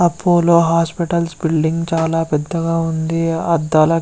Apollo hospital building ఆ చాలా పెద్దగా ఉంది. అర్ధాలు--